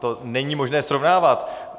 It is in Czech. To není možné srovnávat.